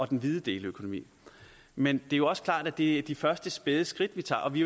den hvide deleøkonomi men det er også klart at det er de første spæde skridt vi tager og vi